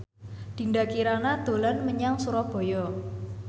Dinda Kirana dolan menyang Surabaya